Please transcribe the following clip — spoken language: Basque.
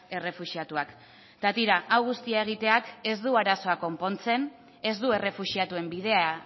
errefuxiatuak eta tira hau guztia egiteak ez du arazoa konpontzen ez du errefuxiatuen bidea